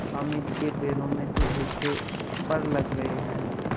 हामिद के पैरों में तो जैसे पर लग गए हैं